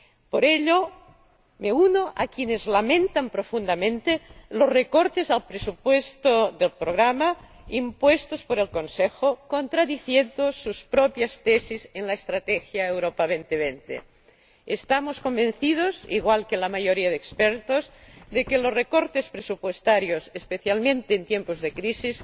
Por ello, me uno a quienes lamentan profundamente los recortes al presupuesto del programa impuestos por el Consejo, contradiciendo sus propias tesis en la Estrategia Europa 2020. Estamos convencidos —igual que la mayoría de expertos— de que los recortes presupuestarios, especialmente en tiempos de crisis,